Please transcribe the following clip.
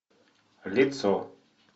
лицо